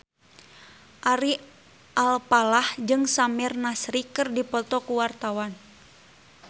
Ari Alfalah jeung Samir Nasri keur dipoto ku wartawan